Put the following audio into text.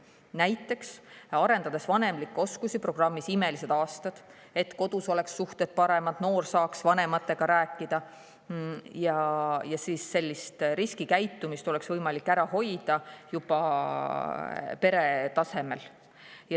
Näiteks saab arendada vanemlikke oskusi programmi "Imelised aastad" abil, et kodus oleks suhted paremad, noor saaks vanematega rääkida ja riskikäitumist oleks võimalik ära hoida juba pere tasemel.